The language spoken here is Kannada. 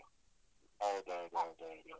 ಹೌದೌದು ಹೌದೌದು.